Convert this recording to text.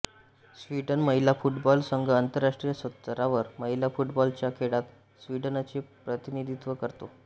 Sweden महिला football संघ आंतरराष्ट्रीय स्तरावर महिला फुटबॉलच्या खेळात स्वीडनचे प्रतिनिधित्व करतो